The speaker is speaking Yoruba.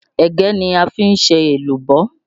Ẹ̀gẹ́ ni a fi ń ṣe èlùbọ́